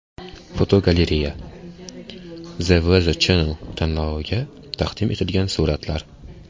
Fotogalereya: The Weather Channel tanloviga taqdim etilgan suratlar.